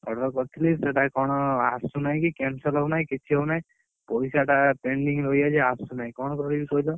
Order କରିଥିଲି ସେଇଟା କଣ ଆସୁନାହି କି cancel ହଉ ନାହି କିଛି ହଉ ନାହି ପଇସା ଟା pending ରହିଯାଇଛି ଆସୁନାହି କଣ କରିବି କହିଲ?